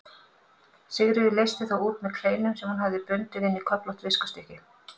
Sigríður leysti þá út með kleinum sem hún hafði bundið inn í köflótt viskustykki.